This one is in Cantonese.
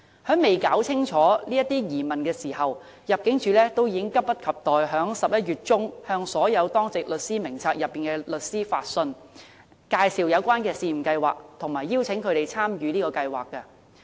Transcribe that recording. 但入境處尚未弄澄清這些疑問，已經急不及待在11月中向所有當值律師名冊內的律師發信，介紹有關試驗計劃，並邀請他們參與。